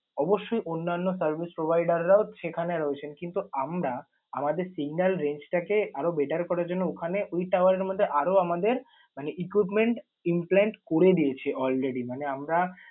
অবশ্যই অন্যান্য service provider রাও সেখানে রয়েছেন কিন্তু আমরা আমাদের signal range টা কে আরও better করার জন্য ওখানে ওই tower এর মধ্যে আরও আমাদের মানে equipment implant করে দিয়েছি already । মানে আমরা